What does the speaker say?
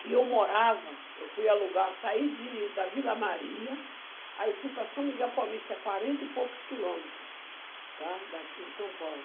que eu morava, eu fui alugar, saí de da Vila Maria, aí fui para São Miguel Paulista, é quarenta e poucos quilômetros, tá? Daqui de São Paulo.